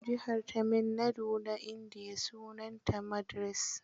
Jihar Tamil Nadu ta Indiya da sunanta Madras.